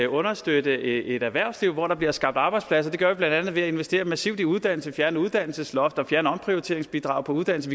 understøtte et erhvervsliv hvor der bliver skabt arbejdspladser det gør vi blandt andet ved at investere massivt i uddannelse fjerne uddannelsesloft og fjerne omprioriteringsbidraget på uddannelse